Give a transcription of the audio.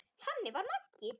Þannig var Maggi.